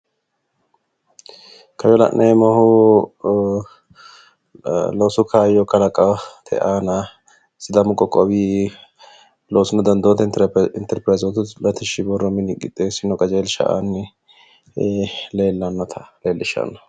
Koye la'neemmohu loosu kaayyo kalaqate aana sidaamu qoqqowi loosunna dandoote interpirayizooti latishshi borro mini qixxeessino qajeelsha aanni leellannota leellishshanno.